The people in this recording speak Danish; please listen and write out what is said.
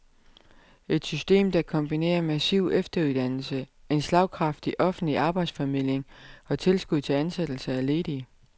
Et system, der kombinerer massiv efteruddannelse, en slagkraftig offentlig arbejdsformidling og tilskud til ansættelse af ledige.